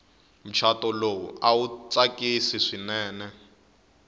muchato lowu awu tsakisi swinene